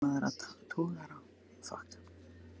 Flokkur vopnaðra togara var einnig til taks norður af Færeyjum.